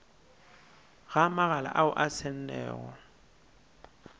ga magala ao a šennego